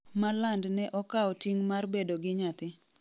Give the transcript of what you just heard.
Malland ne okao ting' mar bedo gi nyathi